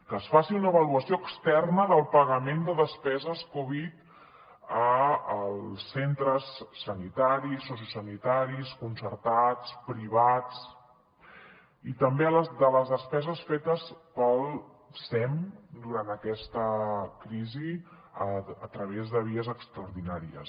que es faci una avaluació externa del pagament de despeses covid als centres sanitaris sociosanitaris concertats privats i també de les despeses fetes pel sem durant aquesta crisi a través de vies extraordinàries